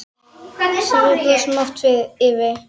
Sem við brostum oft yfir.